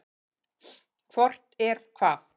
Hvort er hvað?